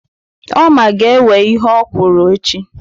Oma ga-ewe ihe okwụrụ echi.